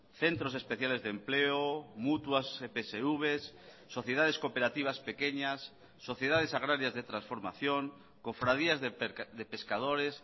centros especiales de empleo mutuas epsvs sociedades cooperativas pequeñas sociedades agrarias de transformación cofradías de pescadores